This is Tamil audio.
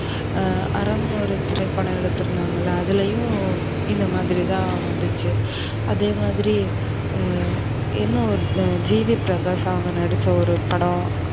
ஆ அறம்னு ஒரு திரைப்படம் எடுத்துருந்தாங்கள அதுலயும் இந்தமாதிரி தான் வந்துச்சு. அதேமாதிரி இன்னொன்னு ஜி வி பிரகாஷ் அவங்க நடிச்ச ஒரு படம்